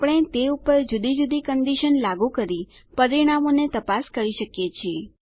આપણે તે પર જુદી જુદી કન્ડીશન લાગું કરી પરિણામોને તપાસ કરી શકીએ છીએ